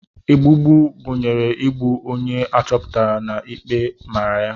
Ogbugbu gụnyere igbu onye a chọpụtara na ikpe mara ya.